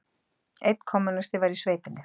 Einn kommúnisti var í sveitinni.